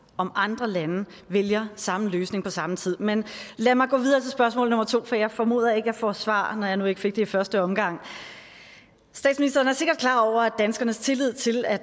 andre lande vælger samme løsning på samme tid men lad mig gå videre til spørgsmål nummer to for jeg formoder ikke at jeg får svar når jeg nu ikke fik det i første omgang statsministeren er sikkert klar over at danskernes tillid til at